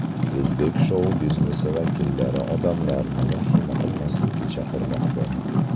O‘zbek shou-biznesi vakillari odamlarni vahima qilmaslikka chaqirmoqda.